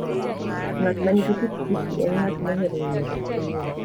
Ng'at ma nigi pikipiki en ng'at mohero ng'iyo gik manyien.